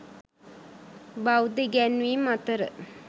බෞද්ධ ඉගැන්වීම් අතර